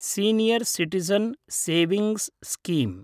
senior citizen savings scheme